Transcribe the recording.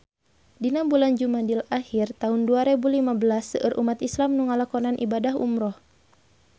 Dina bulan Jumadil ahir taun dua rebu lima belas seueur umat islam nu ngalakonan ibadah umrah